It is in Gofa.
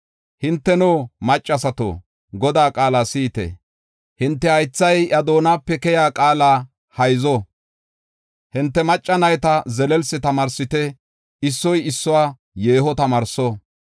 Hinteno, maccasato, Godaa qaala si7ite! Hinte haythay iya doonape keyiya qaala hayzo. Hinte macca nayta zelelsi tamaarsite; issoy issuwa yeeho tamaarso.